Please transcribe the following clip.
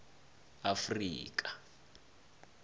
afrika